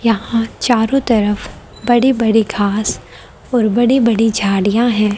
यहां चारों तरफ बड़ी बड़ी घास और बड़ी बड़ी झाड़ियां है।